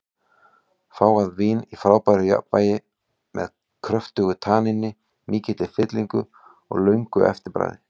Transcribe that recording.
Fágað vín í frábæru jafnvægi, með kröftugu tanníni, mikilli fyllingu og löngu eftirbragði.